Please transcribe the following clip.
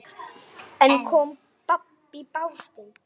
En kom babb í bátinn.